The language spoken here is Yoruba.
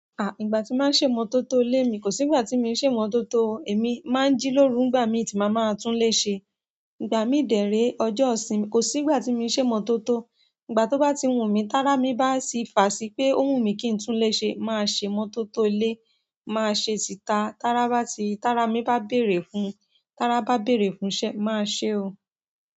Ígbà tí máa ń ṣe imọ́tọ̀ tó ilé mi, kò sí ìgbà tí mi ń ṣemọ́tọ̀ oo. Èmi máa ń jí lóru nígbà mi ti má maa túnléṣe. Ígbà mi dè ré ọjọ́ ìsinmi, kò sí ìgbà tí mi i ṣe imọ́tọ̀tó. Ígbà tó bá ti wù mí, tára mi bá sì fà sí pé ó wù mí kí n túnlé ṣe, màá ṣe imọ́tọ̀tó ilé. Mo ma se tita ti ara mi ba bere fún, ti ara ba bere fún iṣẹ́ mo ma se oo.